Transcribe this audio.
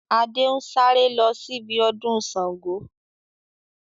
Adé ń sáré lọ síbi ọdún Sángo